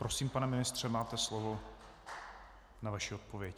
Prosím, pane ministře, máte slovo na vaši odpověď.